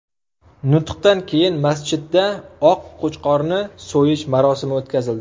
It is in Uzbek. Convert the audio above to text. Nutqdan keyin masjidda oq qo‘chqorni so‘yish marosimi o‘tkazildi.